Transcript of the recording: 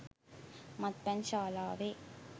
මත්පැන් ශාලාවේ